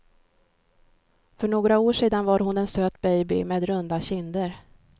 För några år sedan var hon en söt baby med runda kinder.